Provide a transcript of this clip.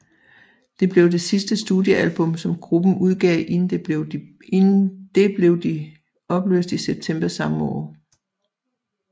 Det blev det sidste studiealbum som gruppen udgav inden det blev de blev opløst i september samme år